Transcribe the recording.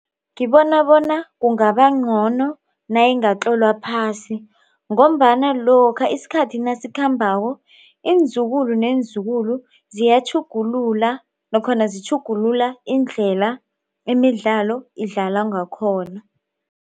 Ngibona bona kungaba ngcono nayingatlolwa phasi ngombana lokha isikhathi nasikhambako iinzukulu neenzukulu ziyatjhugulula nakhona zitjhugulula indlela imidlalo idlalwa ngakhona.